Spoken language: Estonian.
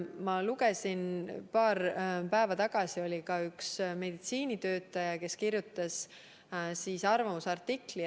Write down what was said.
Ma lugesin paar päeva tagasi ka ühe meditsiinitöötaja arvamusartiklit.